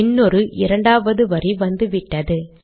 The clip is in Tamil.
இன்னொரு இரண்டாவது வரி வந்துவிட்டது